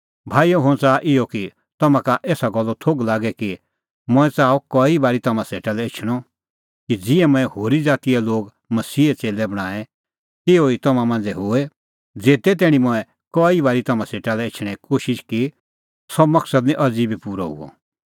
भाईओ हुंह च़ाहा इहअ कि तम्हां का एसा गल्लो थोघ लागे कि मंऐं च़ाहअ कई बारी तम्हां सेटा लै एछणअ कि ज़िहै मंऐं होरी ज़ातीए लोग मसीहे च़ेल्लै बणांऐं तिहअ तम्हां मांझ़ै बी होए ज़ेते तैणीं मंऐं कई बारी तम्हां सेटा लै एछणें कोशिश की सह मकसद निं अज़ी बी पूरअ हुअ